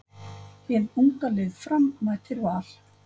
Hið unga lið Fram mætir Val.